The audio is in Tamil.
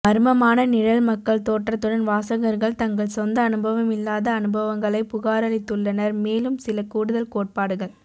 மர்மமான நிழல் மக்கள் தோற்றத்துடன் வாசகர்கள் தங்கள் சொந்த அனுபவமில்லாத அனுபவங்களைப் புகாரளித்துள்ளனர் மேலும் சில கூடுதல் கோட்பாடுகள்